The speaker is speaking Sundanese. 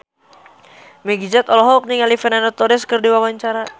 Meggie Z olohok ningali Fernando Torres keur diwawancara